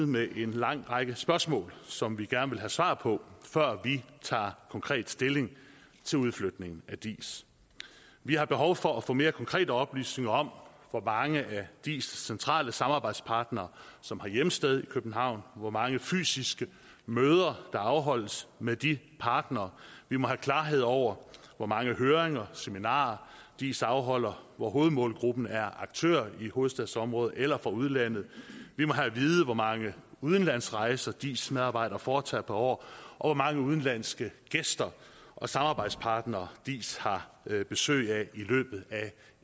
med en lang række spørgsmål som vi gerne vil have svar på før vi tager konkret stilling til udflytningen af diis vi har behov for at få mere konkrete oplysninger om hvor mange af diis centrale samarbejdspartnere som har hjemsted i københavn hvor mange fysiske møder der afholdes med de partnere vi må have klarhed over hvor mange høringer og seminarer diis afholder hvor hovedmålgruppen er aktører i hovedstadsområdet eller fra udlandet vi må have at vide hvor mange udlandsrejser diis medarbejdere foretager per år og hvor mange udenlandske gæster og samarbejdspartnere diis har besøg af i løbet af